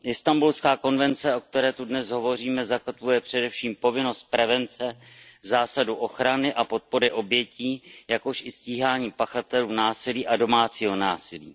Istanbulská konvence, o které zde dnes hovoříme, zakotvuje především povinnost prevence, zásadu ochrany a podpory obětí, jakož i stíhání pachatelů násilí a domácího násilí.